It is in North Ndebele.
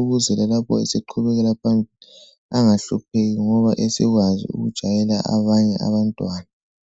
Ukuze lalapho eseqhubekela phambili angahlupheki ngoba esekwazi ukujayela abanye abantwana.